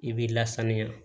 I b'i lasanuya